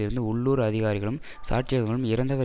இருந்த உள்ளூர் அதிகாரிகளும் சாட்சியங்களும் இறந்தவர்